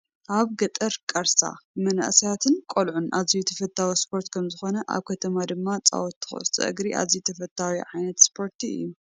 ኣብ ገጠር ቃርሳ ብመናእሰያትን ቆልዑን ኣዝዮ ተፈታዊ ስፖርቲ ከምዝኾነ ኣብ ከተማ ድማ ፃውቲ ኩዕሶ እግሪ ኣዝዩ ተፈታዊ ዓይነት ስፖርቲ እዩ፡፡